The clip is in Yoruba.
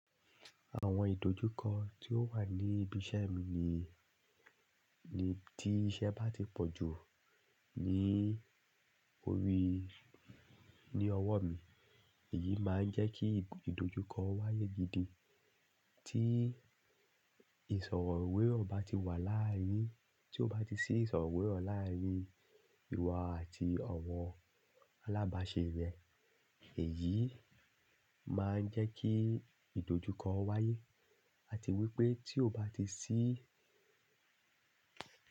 Àwọn ìdojúkọ tí ó wà ní ibi iṣẹ́ mi ni, ni tí iṣẹ́ bá ti pọ̀ jù ní orí, ní ọwọ́ mi, èyí máa ń jẹ́ kí ìdojúkọ wáyé gidi. Tí ìsọ̀rọ̀ ìwé rò bá ti wà láàárín, tí ó bá ti sí ìsọ̀rọ̀ ìwé rò láàárín ìwọ àti ọ̀wọ́ alábàáṣe rẹ, èyí máa ń jẹ́ kí ìdojúkọ wáyé. A ti wí pé tí ó bá ti sí.